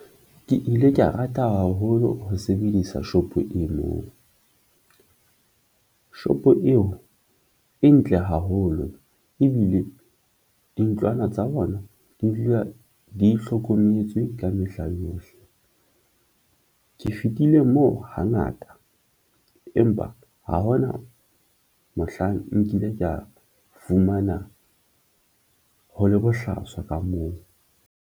Ke ile ke ya rata haholo ho sebedisa shopo e moo shop eo e ntle haholo ebile dintlwana tsa bona di dula di itlhokomele tswe ka mehla yohle. Ke fetile moo hangata empa ha hona mohlang nkile ka fumana ho le bohlaswa ka moo.